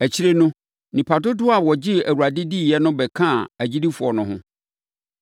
Akyire no, nnipa dodoɔ a wɔgyee Awurade diiɛ no bɛkaa agyidifoɔ no ho.